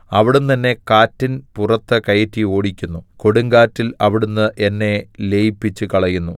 അവിടുന്ന് എന്നെ കാറ്റിൻ പുറത്ത് കയറ്റി ഓടിക്കുന്നു കൊടുങ്കാറ്റിൽ അവിടുന്ന് എന്നെ ലയിപ്പിച്ചുകളയുന്നു